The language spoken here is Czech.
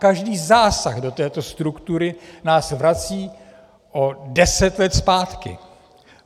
Každý zásah do této struktury nás vrací o deset let zpátky.